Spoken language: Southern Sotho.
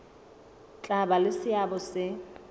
tla ba le seabo se